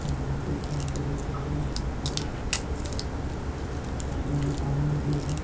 और नदी है नदी के किनारे बहुत सारे बोट नजर आ रहे है नदी में पानी भी है।